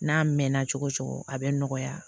N'a mɛnna cogo cogo a bɛ nɔgɔya